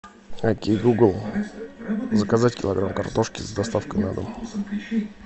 окей гугл заказать килограмм картошки с доставкой на дом